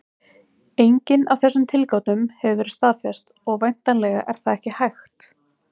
Engin af þessum tilgátum hefur verið staðfest, og væntanlega er það ekki hægt.